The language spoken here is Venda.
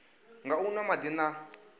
nga u nwa madi na